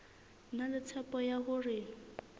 na le tshepo ya hore